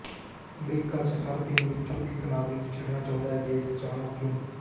America ਚ ਹਰ ਤਿੰਨ ਵਿਚੋਂ ਇਕ ਨਾਗਰਿਕ ਛੱਡਣਾ ਚਾਹੁੰਦਾ ਹੈ ਦੇਸ਼ ਜਾਣੋ ਕਿਉਂ